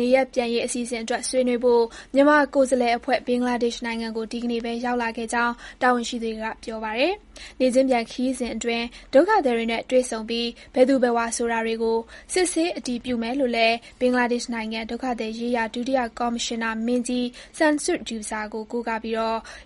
နေရပ်ပြန်ရေး အစီအစဉ်အတွက် ဆွေးနွေးဖို့ မြန်မာကိုယ်စားလှယ်အဖွဲ့ ဘင်္ဂလားဒေ့ရှ်နိုင်ငံကို ဒီကနေ့ပဲ ရောက်လာခဲ့ကြောင်း တာဝန်ရှိသူတွေက ပြောပါတယ်။ နေ့ချင်းပြန် ခရီးစဉ်အတွင်း ဒုက္ခသည်တွေနဲ့ တွေ့ဆုံပြီး၊ ဘယ်သူဘယ်ဝါ ဆိုတာတွေကို စစ်ဆေးအတည်ပြုမယ်လို့လည်း ဘင်္ဂလားဒေ့ရှ်နိုင်ငံ ဒုက္ခသည်ရေးရာ ဒုတိယကော်မရှင်နာမင်းကြီး Shamsud Douza ကို ကိုးကားပြီး